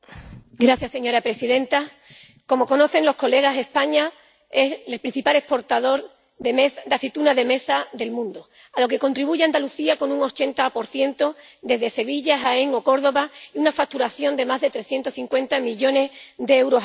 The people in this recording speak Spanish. Señora presidenta, como saben sus señorías, España es el principal exportador de aceituna de mesa del mundo, a lo que contribuye Andalucía con un 80 desde Sevilla, Jaén o Córdoba, y una facturación de más de 350 millones de euros al año.